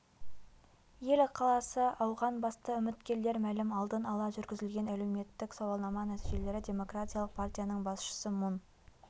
ел ықыласы ауған басты үміткерлер мәлім алдын ала жүргізілген әлеуметік сауалнама нәтижелері демократиялық партияның басшысы мун